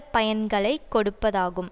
பயன்களைக் கொடுப்பதாகும்